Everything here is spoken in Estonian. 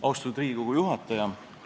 Austatud Riigikogu juhataja!